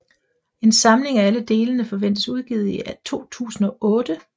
En samling af alle delene forventes udgivet i 2008